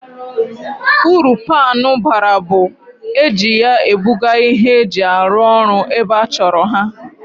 Uru paanụ bara bụ, ehi ya ebuga ihe eji arụ orụ ebe achọrọ ha